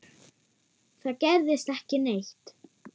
Það gerðist ekki neitt.